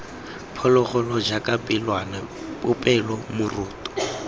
phologolo jaaka pelwana popelo moroto